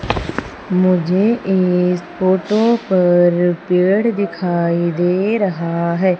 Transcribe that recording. मुझे इस फोटो पर पेड़ दिखाई दे रहा है।